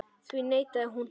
Því neitaði hún.